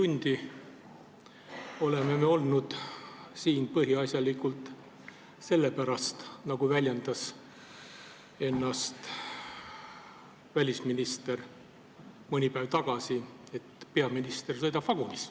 Me oleme siin olnud rohkem kui neli tundi peaasjalikult sellepärast, et peaminister sõidab vagunis, nagu väljendas ennast välisminister mõni päev tagasi.